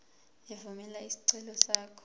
evumela isicelo sakho